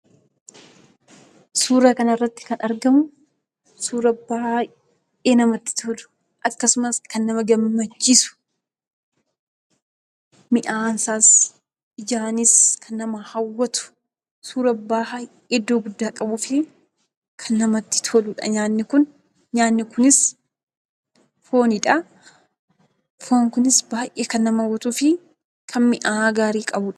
Suura kana irratti kan argamu suura baay'ee namatti tolu. Akkasumas kan baay'ee nama ggammachiis. Mi'aawaanisaas ijaanis kan nama haawwatu. Suura baay'ee iddoo guddaa qabuu fi kan namatti toluudha. Nyaanni Kun fooniidha. Foon Kunis kan baay'ee nama hawwatuu fi mi'aawaa gaarii qabuudha.